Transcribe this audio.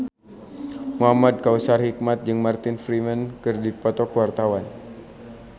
Muhamad Kautsar Hikmat jeung Martin Freeman keur dipoto ku wartawan